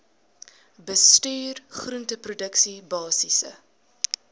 bestuur groenteproduksie basiese